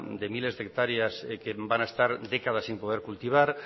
de miles de hectáreas que van a estar décadas sin poder cultivar